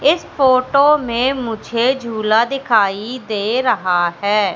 इस फोटो में मुझे झूला दिखाई दे रहा है।